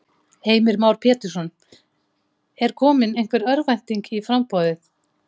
Heimir Már Pétursson: Er komin einhver örvænting í í framboðið?